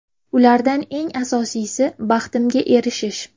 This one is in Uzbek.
Ulardan eng asosiysi – baxtimga erishish.